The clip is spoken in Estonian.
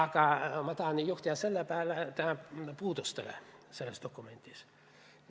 Aga ma tahan juhtida tähelepanu ühele puudusele selles dokumendis.